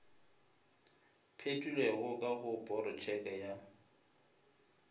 phethilwego ka go porotšeke ya